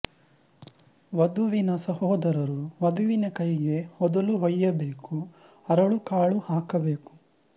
ವಧುವಿನ ಸಹೋದರರು ವಧುವಿನ ಕೈಗೆ ಹೊದಲು ಹೊಯ್ಯಬೇಕು ಅರಳು ಕಾಳು ಹಾಕಬೇಕು